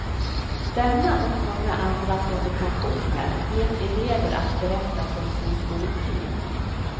Denna och många andra provokationer vet elever att berätta från sin skoltid.